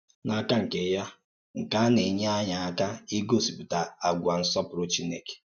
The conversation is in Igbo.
N’áka nke ya, nke à na-ènye ànyí àkà ígósìpùtà àgwà nsọ́pùrụ̀ Chínèkè.